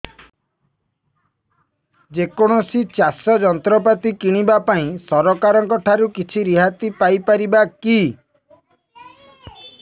ଯେ କୌଣସି ଚାଷ ଯନ୍ତ୍ରପାତି କିଣିବା ପାଇଁ ସରକାରଙ୍କ ଠାରୁ କିଛି ରିହାତି ପାଇ ପାରିବା କି